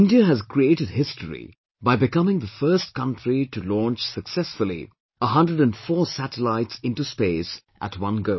India has created history by becoming the first country to launch successfully 104 satellites into space at one go